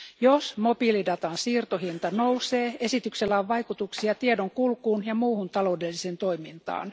Jos mobiilidatan siirtohinta nousee, esityksellä on vaikutuksia tiedonkulkuun ja muuhun taloudelliseen toimintaan.